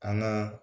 An ka